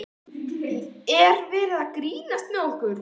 Er verið að grínast með okkur?